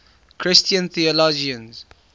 christian theologians